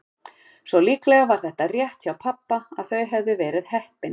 Svo líklega var það rétt hjá pabba að þau hefðu verið heppin.